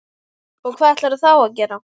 Og hvað ætlarðu þá að gera?